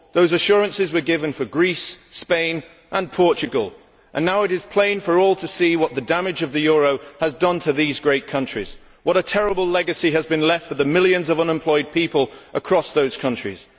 Those assurances were given for Greece, Spain and Portugal, and now it is plain for all to see what damage the euro has done to those great countries and what a terrible legacy has been left for the millions of unemployed people across those countries.